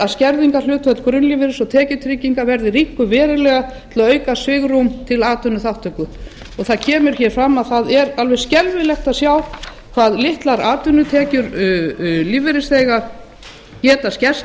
að skerðingarhlutfall grunnlífeyris og tekjutrygginga verði rýmkað verulega til að auka svigrúm til atvinnuþátttöku það kemur hér fram að það er alveg skelfilegt að sjá hve litlar atvinnutekjur lífeyrisþega geta skerst